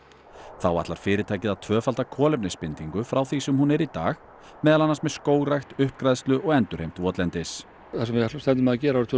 þá ætlar fyrirtækið að tvöfalda kolefnisbindingu frá því sem hún er í dag meðal annars með skógrækt uppgræðslu og endurheimt votlendis það sem við stefnum á að gera árið tvö